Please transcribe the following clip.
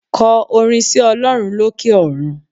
Ko orin sí Olórun lókè òrun